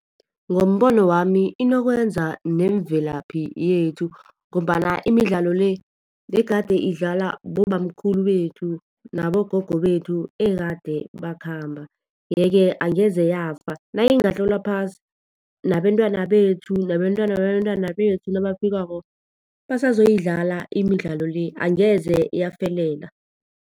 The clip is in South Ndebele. Ngombono wami inokwenza nemvelaphi yethu, ngombana imidlalo le begade idlalwa bobamkhulu bethu, nabogogo bethu ekade bakhamba. Yeke angeze yafa. Nayingatloliswa phasi, nabentwana bethu, nabentwana babentwana bethu nabafikako, besazoyidlala imidlalo le. Angeze yafelela.